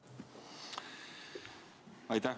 Aitäh!